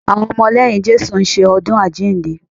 Àwọn ọmọ lẹ́yìn Jésù ń ṣe ọdún àjíǹde